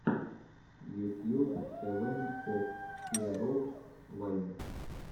ютьюб тэвэн оф хиэровс вайн